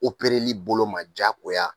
li bolo ma diyagoya